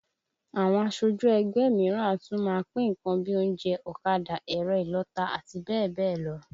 Àwọn aṣojú ẹgbẹ́ mìíràn a tún máa pín nǹkan bíi oúnjẹ, ọ̀kadà, ẹ̀rọ ìlọta, àti bẹ́ẹ̀ bẹ́ẹ̀ lọ